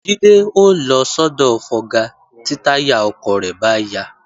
Jídé ó lọ sọ́dọ̀ fọga tí táyà ọkọ̀ rẹ̀ bá ya